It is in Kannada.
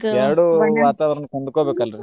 ಎರ್ಡು ವಾತಾವರಣಕ ಹೊಂದ್ಕೊಬೇಕ್ ಅಲ್ರಿ.